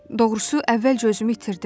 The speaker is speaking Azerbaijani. Doğrusu əvvəlcə özümü itirdim.